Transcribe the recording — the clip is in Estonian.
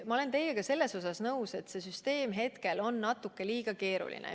Ma olen teiega nõus, et see süsteem on praegu natuke liiga keeruline.